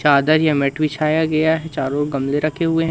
चादर या मैट बिछाया गया है चारों ओर गमले रखे हुए है।